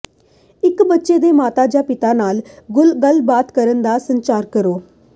ਇੱਕ ਬੱਚੇ ਦੇ ਮਾਤਾ ਜਾਂ ਪਿਤਾ ਨਾਲ ਗੱਲਬਾਤ ਕਰਨ ਦਾ ਸੰਚਾਰ ਕਰੋ